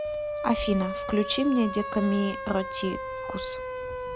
афина включи мне декамиротикус